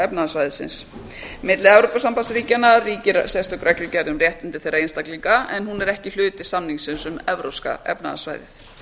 efnahagssvæðisins milli evrópusambandsríkjanna ríkir sérstök reglugerð um réttindi þeirra einstaklinga en hún er ekki hluti samningsins um evrópska efnahagssvæðið